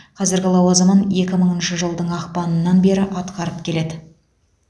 қазіргі лауазымын екі мыңыншы жылдың ақпанына бері атқарып келеді